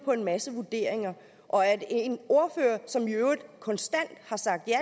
på en masse vurderinger og at en ordfører som i øvrigt konstant har sagt ja